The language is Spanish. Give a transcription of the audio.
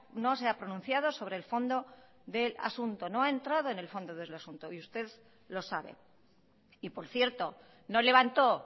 no se ha pronunciado sobre el fondo del asunto no ha entrado en el fondo del asunto y usted lo sabe y por cierto no levanto